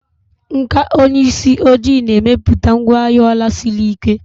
Nkà onye isi ojii na-emepụta ngwaahịa ọla siri ike.